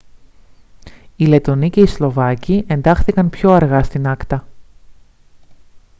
οι λετονοί και οι σλοβάκοι εντάχθηκαν πιο αργά στην acta